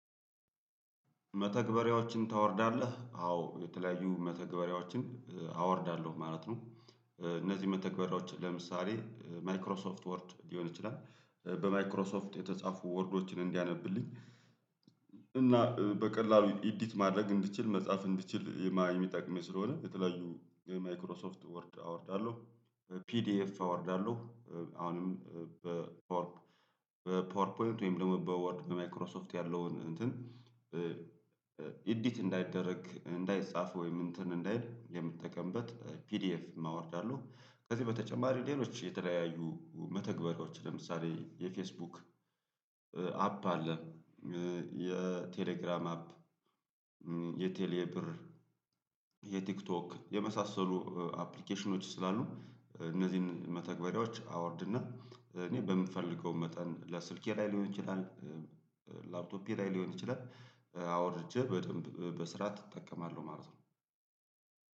መተግበሪያዎችን ታወርዳለህ? አዎ የተለያዩ መተግበሪያዎችን አወርዳለሁ ማለት ነው። እነዚህ መተግበራዎች ለምሳሌ ማይክሮሶፍት ወርድ ሊሆን ይችላል በማይክሮሶፍት የተጻፉ ወርዶችን እንዲያነብልኝ እና በቀላሉ ኢዲት ማድረግ እንድችል መጻፍ እንድችል የሚጠቅመኝ ስለሆነ የተለያዩ ማይክሮሶፍት ወርድ አወርዳለሁ ፒዲኤፍ አወርዳለሁ። አሁንም በፓወር ፓወር ፖይንት ወይም ደግሞ በወርድ በማይክሮሶፍት ያለውን እንትን ኢዲት እንዳይደረግ እንዳይጻፍ ወይም እንትን እንዳይል የምትጠቀምበት ፒዲኤፍም አወርዳለሁ። ከዚህ በተጨማሪ ሌሎች የተለያዩ መተግበሪያዎች ለምሳሌ የፌስቡክ አፕ አለ የቴሌግራም አፕ የቴሌ ብር የቲክቶክ የመሳሰሉ አፕሊኬሽኖች ስላሉ እነዚህን መተግበሪያዎች አወርድና እኔ በምፈልገው መጠን ለስልኬ ላይ ሊሆን ይችላል ላፕቶፒዬ ላይ ሊሆን ይችላል አውርጄ በደንብ በስርዓት እጠቀማለሁ ማለት ነው።